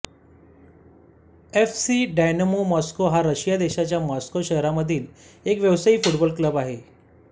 F C Dynamo Moscow हा Russia देशाच्या Moscow शहरामधील एक व्यावसायिक फुटबॉल क्लब आहे